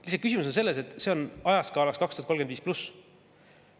Lihtsalt küsimus on selles, et see on ajaskaalas 2035 pluss.